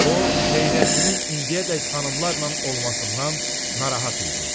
O, Xeyrəddinin indiyədək xanımlarla olmasından narahat idi.